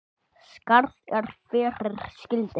Skarð er fyrir skildi.